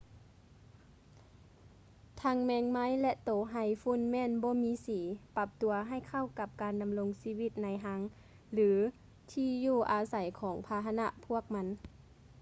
ທັງແມງໄມ້ ແລະ ໂຕໄຮຝຸ່ນແມ່ນບໍ່ມີສີ ປັບຕົວໃຫ້ເຂົ້າກັບການດຳລົງຊີວິດໃນຮັງ ຫຼື ທີ່ຢູ່ອາໄສຂອງພາຫະພວກມັນ